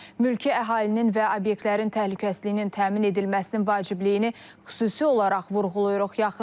Mülki əhalinin və obyektlərin təhlükəsizliyinin təmin edilməsinin vacibliyini xüsusi olaraq vurğulayırıq.